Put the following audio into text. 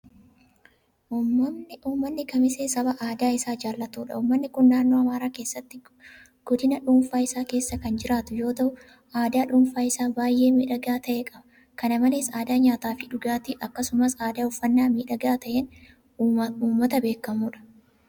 Uummanni kamisee saba aadaa isaa jaalatudha. Uummanni kun naannoo Amaaraa keessatti godina dhuunfaa isaa keessa kan jiraatu yeroo ta'u; Aadaa dhuunfaa isaa baay'ee miidhagaa ta'e qaba. Kana malees aadaa nyaataafi dhugaatii, akkasumas aadaa uffannaa miidhagaa ta'een uummata beekamudha.